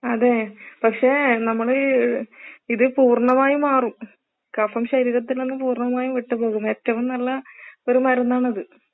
അതെ പക്ഷെ നമ്മള് ഇത് പൂർണ്ണമായും മാറും. കഫം ശരീരത്തിൽ നിന്ന് പൂർണ്ണമായും വിട്ട് പോകും ഏറ്റവും നല്ല ഒരു മരുന്നാണിത്.